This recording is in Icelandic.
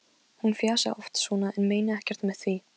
Selina, ég kom með sjötíu og sex húfur!